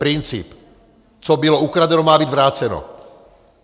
Princip co bylo ukradeno, má být vráceno.